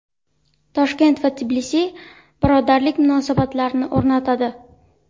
Toshkent va Tbilisi birodarlik munosabatlarini o‘rnatadi.